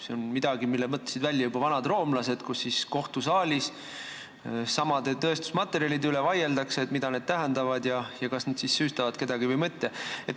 See on midagi, mille mõtlesid välja juba vanad roomlased: kohtusaalis vaieldakse tõestusmaterjalide üle, mida need tähendavad ja kas nad süüstavad kedagi või mitte.